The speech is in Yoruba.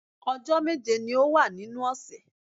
Ọjọ́ méje ni ó wà nínú ọ̀sẹ̀